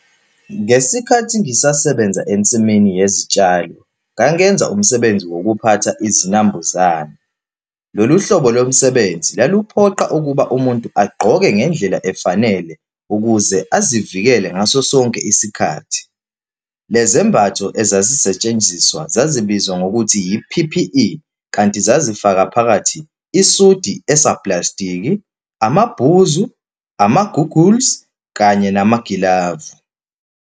Ngesikhathi ngisasebenza ensimini yezitshalo, ngangenza umsebenzi wokuphatha izinambuzane. Lolu hlobo lomsebenzi laluphoqa ukuba umuntu agqoke ngendlela efanele ukuze azivikele ngaso sonke isikhathi. Le zembatho ezazisetshenziswa zazibizwa ngokuthi i-P_P_E, kanti zazifaka phakathi isudi esaplastiki, amabhuzu, ama-goggles, kanye namagilavu.